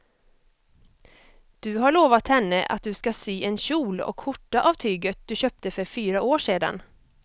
Du har lovat henne att du ska sy en kjol och skjorta av tyget du köpte för fyra år sedan.